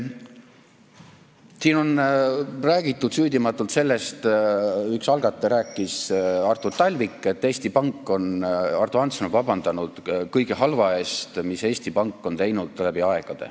Siin on räägitud süüdimatult sellest – üks algataja rääkis, Artur Talvik –, et Eesti Pank, Ardo Hansson on vabandanud kõige halva eest, mis Eesti Pank on teinud läbi aegade.